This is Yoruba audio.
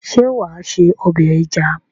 Ṣé wà á sé ọbẹ̀ ẹja?